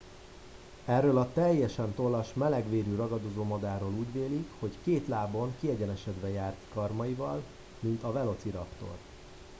erről a teljesen tollas melegvérű ragadozómadárról úgy vélik hogy két lábon kiegyenesedve járt karmaival mint a velociraptor